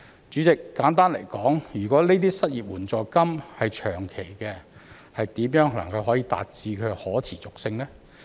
主席，簡單來說，如果失業援助金是長期的，怎能達致可持續性？